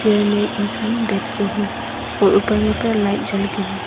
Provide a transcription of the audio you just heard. Chair में एक इंसान बैठ के है और ऊपर में पूरा लाइट जलके हैं।